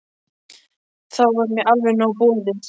Þá var mér alveg nóg boðið.